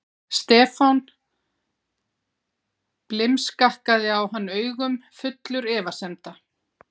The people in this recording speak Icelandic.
Stefán blimskakkaði á hann augum, fullur efasemda.